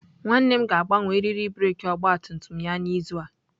Nwanne m ga-agbanwe eriri breeki ọgabtumtum ya n'izu a.